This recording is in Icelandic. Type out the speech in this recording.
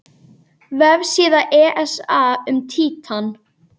Vefsíða ESA um Títan.